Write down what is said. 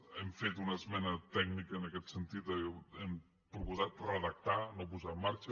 hem fet una esmena tècnica en aquest sentit hem proposat redactar no posar en marxa